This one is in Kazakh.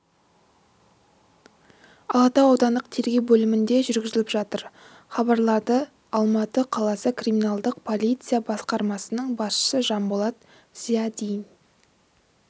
алатау аудандық тергеу бөлімінде жүргізіліп жатыр хабарлады алматы қаласы криминалдық полиция басқармасының басшысы жанболат зиадин